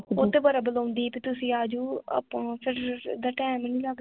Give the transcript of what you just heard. ਉਹ ਤੇ ਬੜਾ ਬੁਲਾਉਂਦੀ ਬੀ ਤੁਸੀਂ ਆ ਜਾਓ, ਆਪਾਂ ਫੇਰ, ਇੱਦਾਂ ਟਾਈਮ ਹੀ ਨੀ ਲਗਦਾ